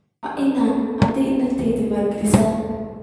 Waa in aad naftaada maalgelisaa?